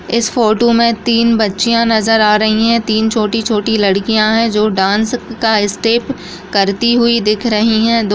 इस फोटो में तीन बच्चियाँ नजर आ रही है तीन छोटी-छोटी लड़कियां है जो डांस का स्टेप करती हुई दिख रही है।